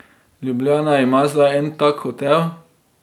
Ljubljana ima zdaj en tak hotel.